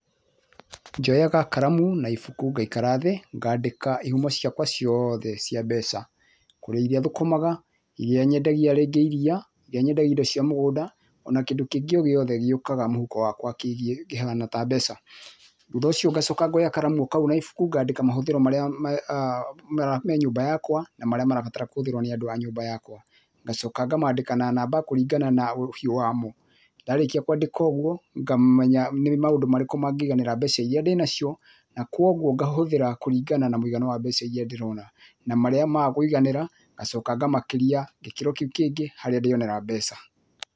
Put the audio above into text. Njoyaga karamu na ibuku ngaikara thĩ, ngandĩka ihumo ciakwa ciothe cia mbeca, kũrĩ iria thũkũmaga, iria nyendagia rĩngĩ iria, iria nyendagia indo cia mũgũnda, o na kĩndũ kĩngĩ o gĩothe gĩũkaga mũhuko wakwa kĩgiĩ kĩhana ta mbeca. Thutha ũcio ngacoka ngoya karamu o kau na ibũku ngandĩka mahũthĩro mothe marĩa me nyũmba yakwa na marĩa na marĩa marabatara kũhũthĩrwo nĩ andũ a nyũmba yakwa. ngacoka ngamandĩka na namba kũringana na ũhiũ wamo. Ndarĩkia kũandĩka ũguo, ngamenya nĩ maũndũ marĩkũ mangĩiganĩra mbeca iria ndĩ nacio, na koguo ngahũthĩra kũringana na mũigana wa mbeca iria ndĩrona na marĩa maga kũiganĩra ngacoka ngamakĩria gĩkĩro kĩu kĩngĩ, harĩa ndĩonera mbeca.